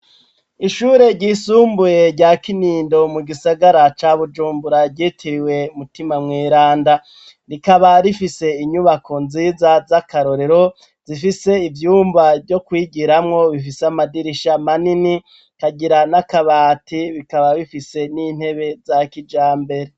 Ishure ry'isumbuye rya Kinindo, mugisagara ca Bujumbura ryitiriwe Mutima Mweranda, rikaba rifise Inyubako nziza zakarorero, zifise ivyumba vyokwigiramwo, bifise amadirisha manini, bikagira n'akabati , bifise n'intebe za kijambere.